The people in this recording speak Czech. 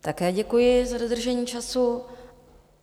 Také děkuji za dodržení času.